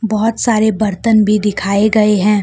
बहोत सारे बर्तन भी दिखाए गए हैं।